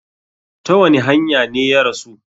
Ta wani hanya ne ya rasu?